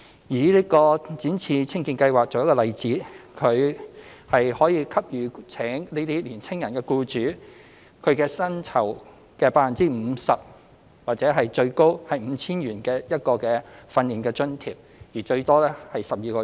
以"展翅青見計劃"為例，計劃給予聘請年輕人的僱主其薪酬的 50% 或最高 5,000 元的訓練津貼，最多12個月。